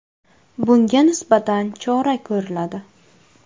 Bunga nisbatan chora ko‘riladi.